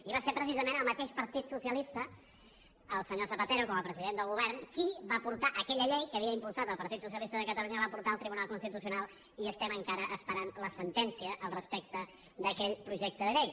i va ser precisament el mateix partit socialista el senyor zapatero com a president del govern qui va portar aquella llei que havia impulsat el partit socialista de catalunya la va portar al tribunal constitucional i estem encara esperant la sentència respecte d’aquell projecte de llei